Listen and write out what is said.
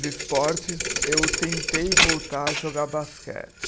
Esportes, eu tentei voltar a jogar basquete.